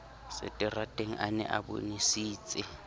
seterateng a ne a bonesitse